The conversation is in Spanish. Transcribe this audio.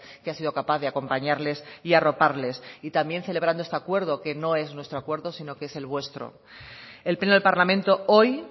que ha sido capaz de acompañarles y arroparles y también celebrando este acuerdo que no es nuestro acuerdo sino que es el vuestro el pleno del parlamento hoy